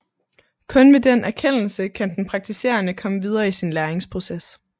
Kun ved den erkendelse kan den praktiserende komme videre i sin læringsproces